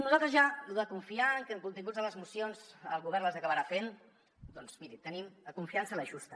nosaltres ja lo de confiar que els continguts de les mocions el govern les acabarà fent doncs miri tenim la confiança justa